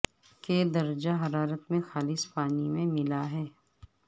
کے درجہ حرارت میں خالص پانی میں ملا ہے